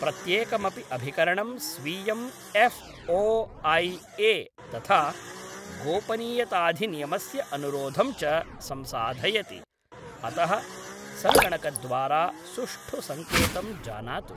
प्रत्येकमपि अभिकरणं स्वीयं एफ् ओ ऐ ए तथा गोपनीयताधिनियमस्य अनुरोधं च संसाधयति, अतः सङ्गणकद्वारा सुष्टु सङ्केतं जानातु।